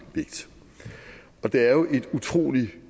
vægt det er jo et utrolig